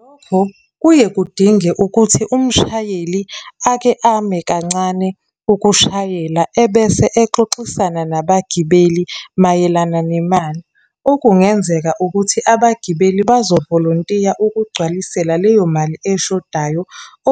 Lokho kuye kudinge ukuthi umshayeli ake ame kancane ukushayela, ebese exoxisana nabagibeli mayelana nemali. Okungenzeka ukuthi abagibeli bazovolontiya ukugcwalisela leyo mali eshodayo,